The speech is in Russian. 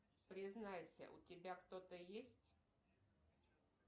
признайся у тебя кто то есть